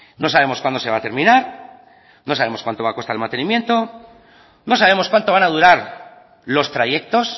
no sabemos cuándo se va a terminar no sabemos cuanto va a costar el mantenimiento no sabemos cuánto van a durar los trayectos